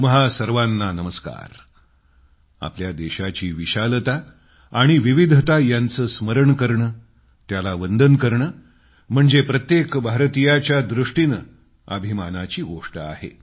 तुम्हा सर्वांना नमस्कार आपल्या देशाची विशालता आणि विविधता यांचं स्मरण करणं त्याला वंदन करणं म्हणजे प्रत्येक भारतीयाच्या दृष्टीनं अभिमानाची गोष्ट आहे